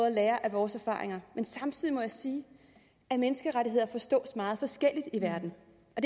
at lære af vores erfaringer men samtidig må jeg sige at menneskerettigheder forstås meget forskelligt i verden